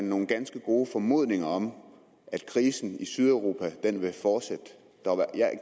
nogle ganske gode formodninger om at krisen i sydeuropa ville fortsætte